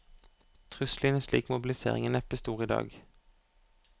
Trusselen i en slik mobilisering er neppe stor i dag.